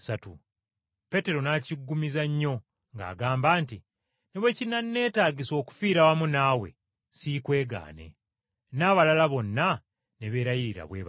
Peetero n’akiggumiza nnyo ng’agamba nti, “Oba kufiira wamu naawe n’afa, naye sijja kukwegaana n’akamu kokka.” N’abalala bonna ne beerayirira bwe batyo.